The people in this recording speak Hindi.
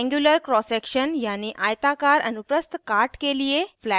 रेक्टैग्यूलर क्रॉससेक्शन यानी आयताकार अनुप्रस्थ काट के लिए फ्लैट फ़ाइल